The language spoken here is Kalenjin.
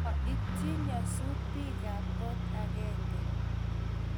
Mo itchi nyasut biik ab kot agenge